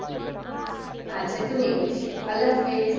আচ্ছা তুমিও এসো, আল্লাহ হাফিজ